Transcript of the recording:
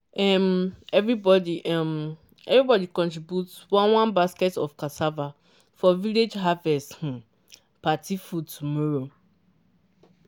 um everybody um everybody contribute one one basket of cassava for village harvest um party food tomorrow.